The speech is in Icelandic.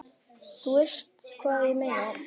þú veist hvað ég meina.